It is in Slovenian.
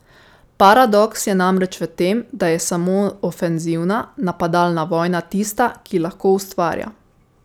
Paradoks je namreč v tem, da je samo ofenzivna, napadalna vojna tista, ki lahko ustvarja.